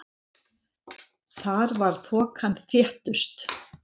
Þar var þokan þéttust.